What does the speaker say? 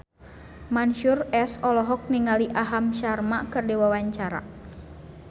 Mansyur S olohok ningali Aham Sharma keur diwawancara